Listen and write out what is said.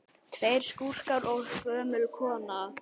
Tveir skúrkar og gömul kona